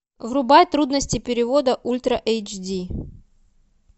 врубай трудности перевода ультра эйч ди